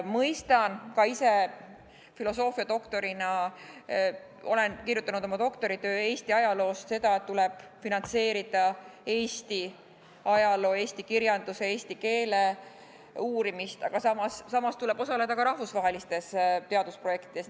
Mõistan ka ise filosoofiadoktorina – olen kirjutanud oma doktoritöö Eesti ajaloost – seda, et tuleb finantseerida Eesti ajaloo, eesti kirjanduse eesti keele uurimist, aga samal ajal tuleb osaleda ka rahvusvahelistes teadusprojektides.